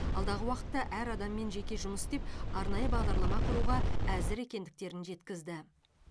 алдағы уақытта әр адаммен жеке жұмыс істеп арнайы бағдарлама құруға әзір екендіктерін жеткізді